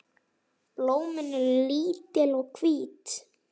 Blómin eru lítil og hvít.